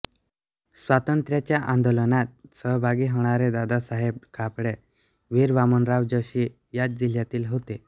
स्वातंत्र्याच्या आंदोलनात सहभागी होणारे दादासाहेब खापर्डे वीर वामनराव जोशी याच जिल्ह्यातील होते